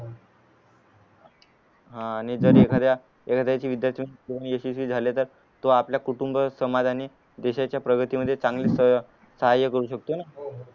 हा आणि जर एखाद्या झाले तर तो आपल कुटुंब समाज आणि देशाच्या प्रगतीमध्ये चांगलीच अह साहाय्य करू शकतो ना